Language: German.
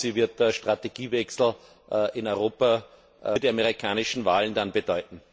Was glauben Sie, wird der Strategiewechsel in Europa für die amerikanischen Wahlen dann bedeuten?